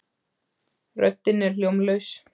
Röddin er hljómlaus.